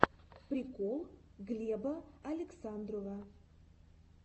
прикол глеба александрова